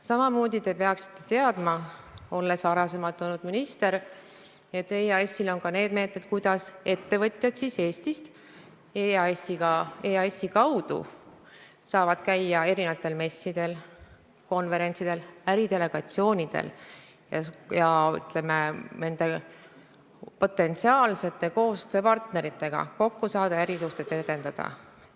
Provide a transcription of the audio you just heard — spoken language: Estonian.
Samamoodi peaksite te teadma, olles varasemalt olnud minister, et EAS-il on ka meetmed, kuidas ettevõtjad saavad Eestist EAS-i kaudu käia erinevatel messidel, konverentsidel, äridelegatsioonide üritustel ja nende potentsiaalsete koostööpartneritega kokku saada ja ärisuhteid edendada.